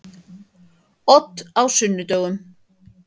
Odd á sunnudögum.